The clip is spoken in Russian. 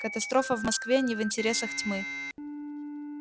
катастрофа в москве не в интересах тьмы